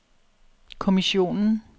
kommissionen